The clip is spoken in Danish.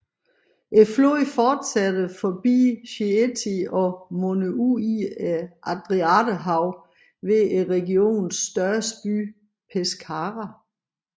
Floden fortsætter forbi Chieti og munder ud i Adriaterhavet ved regionens største by Pescara